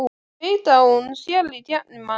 Veit að hún sér í gegnum hann.